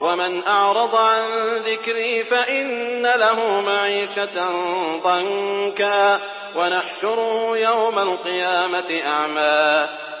وَمَنْ أَعْرَضَ عَن ذِكْرِي فَإِنَّ لَهُ مَعِيشَةً ضَنكًا وَنَحْشُرُهُ يَوْمَ الْقِيَامَةِ أَعْمَىٰ